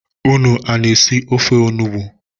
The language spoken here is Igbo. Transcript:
Unu ana-esi ofe onugbui?